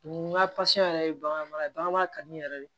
N ka yɛrɛ ye bagan mara mara ye bagan mara ka di n yɛrɛ de ye